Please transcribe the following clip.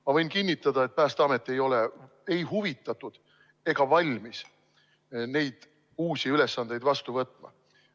Ma võin kinnitada, et Päästeamet ei ole ei huvitatud ega valmis neid uusi ülesandeid vastu võtma.